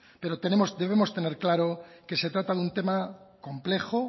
pero debemos tener claro que se trata de un tema complejo